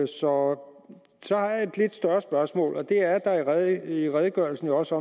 så så har jeg et lidt større spørgsmål og det er at der i redegørelsen jo også